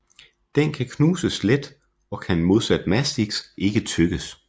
Den knuses let og kan modsat mastiks ikke tygges